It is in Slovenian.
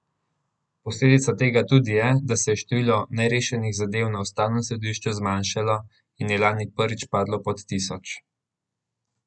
Posledica tega tudi je, da se je število nerešenih zadev na ustavnem sodišču zmanjšalo in je lani prvič padlo pod tisoč.